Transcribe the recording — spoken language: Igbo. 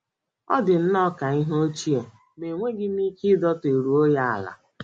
Ọ dị nnọọ ka ihe ochie ma enweghị m ike idoteruo ya ala